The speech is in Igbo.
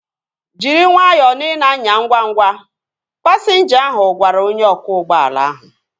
Jiri nwayọọ na ị na-anya ngwa ngwa! Pasinja ahu gwara onye ọkwọ ụgbọala ahu